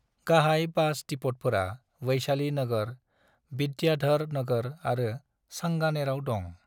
गाहाय बास डिपोटफोरा वैशाली नगर, विद्याधर नगर आरो सांगानेराव दं।